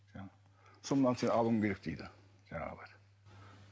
сол мынаны сен алуың керек дейді жаңағылар